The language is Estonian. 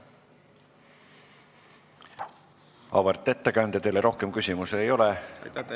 Auväärt ettekandja, teile rohkem küsimusi ei ole.